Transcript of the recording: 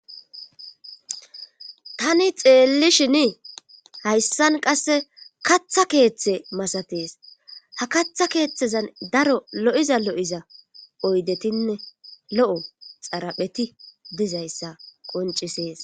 Tani xeelli shini hayssan qasse katha keeththe masatees ha katha keeththezan daro lo'iza lo'iza oydetinne lo'o xarapheti dizayssa qoncisees.